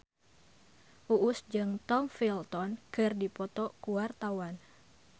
Uus jeung Tom Felton keur dipoto ku wartawan